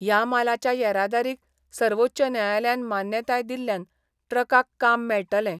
या मालाच्या येरादारीक सर्वोच्च न्यायालयान मान्यताय दिल्ल्यान ट्रकाक काम मेळटले.